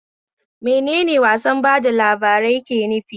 Menene wasar ba da labarai ke nufi?